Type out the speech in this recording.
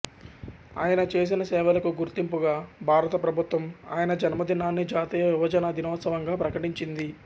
ఆయన చేసిన సేవలకు గుర్తింపుగా భారత ప్రభుత్వం ఆయన జన్మ దినాన్ని జాతీయ యువజన దినోత్సవం గా ప్రకటించింది